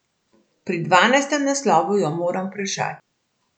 Pri dvanajstem naslovu jo moram vprašati.